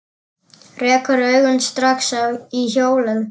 Rekur augun strax í hjólið.